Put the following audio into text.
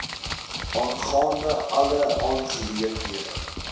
aangaande alle aangeleenthede